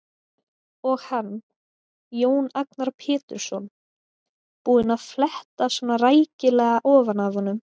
Og hann, Jón Agnar Pétursson, búinn að fletta svona rækilega ofan af honum!